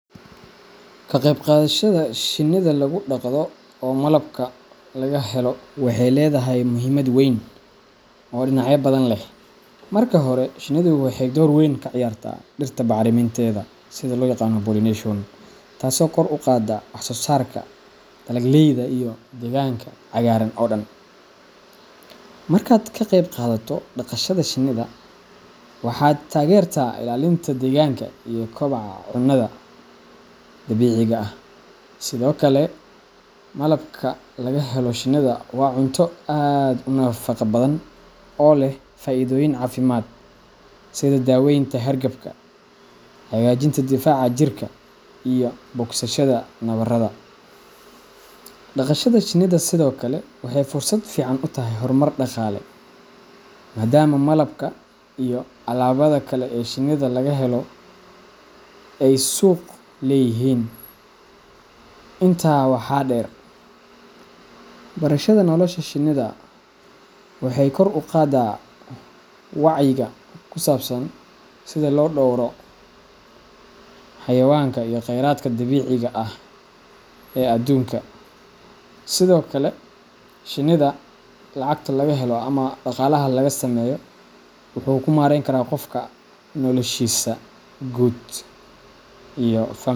Ka qeyb qaadashada shinida lagu dhaqdo oo malabka laga helo waxay leedahay muhiimad weyn oo dhinacyo badan leh. Marka hore, shinidu waxay door weyn ka ciyaartaa dhirta bacrinteeda pollination, taasoo kor u qaadda wax soosaarka dalagyada iyo deegaanka cagaaran oo dhan. Markaad ka qeyb qaadato dhaqashada shinida, waxaad taageertaa ilaalinta deegaanka iyo koboca cunnada dabiiciga ah. Sidoo kale, malabka laga helo shinida waa cunto aad u nafaqo badan oo leh faa’iidooyin caafimaad sida daweynta hargabka, hagaajinta difaaca jirka, iyo bogsashada nabarrada. Dhaqashada shinida sidoo kale waxay fursad fiican u tahay horumar dhaqaale, maadaama malabka iyo alaabada kale ee shinida laga helo ay suuq wanaagsan leeyihiin. Intaa waxaa dheer, barashada nolosha shinida waxay kor u qaaddaa wacyiga ku saabsan sida loo dhowro xayawaanka iyo khayraadka dabiiciga ah ee aduunka. Sidokale shinida lacagta laga helo ama dhagalaha laga sameyo wuxu kumaren karaa qofka , nolashisa gud iyo familkisa .